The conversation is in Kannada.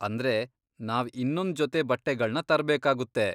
ಅಂದ್ರೆ, ನಾವ್ ಇನ್ನೊಂದ್ ಜೊತೆ ಬಟ್ಟೆಗಳ್ನ ತರ್ಬೇಕಾಗುತ್ತೆ.